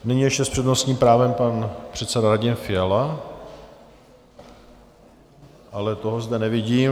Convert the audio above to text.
Nyní ještě s přednostním právem pan předseda Radim Fiala, ale toho zde nevidím.